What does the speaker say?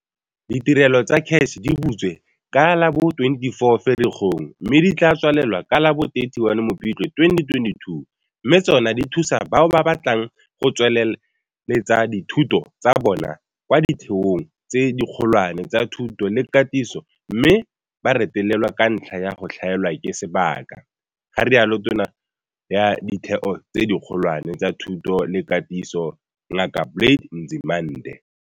Ditirelo tsa CACH di butse ka la bo 24 Ferikgong mme di tla tswalela ka la bo 31 Mopitlwe 2022 mme tsona di thusa bao ba batlang go tsweletsa dithuto tsa bona kwa ditheong tse dikgolwane tsa thuto le katiso mme ba retelelwa ka ntlha ya go tlhaelwa ke sebaka, ga rialo Tona ya Ditheo tse Dikgolwane tsa Thuto le Katiso Ngaka Blade Nzimande.